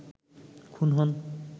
খুন হন